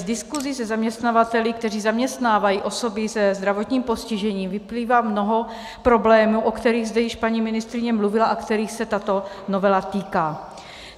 Z diskusí se zaměstnavateli, kteří zaměstnávají osoby se zdravotním postižením, vyplývá mnoho problémů, o kterých zde již paní ministryně mluvila a kterých se tato novela týká.